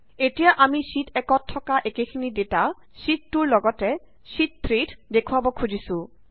এতিয়া আমি শ্যিট 1 ত থকা একেখিনি ডেটা শ্যিট 2 ৰ লগতে শ্যিট 3 ত দেখুওৱাব খুজিছো